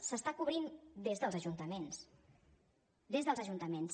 s’està cobrint des dels ajuntaments des dels ajuntaments